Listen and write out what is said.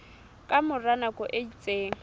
ka mora nako e itseng